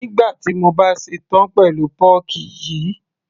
nígbà tí mo bá ṣe tán pẹ̀lú pọ́ọ́kì yìí